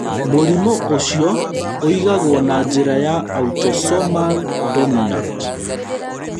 Mũrimũ ũcio ũigagwo na njĩra ya autosomal dominant.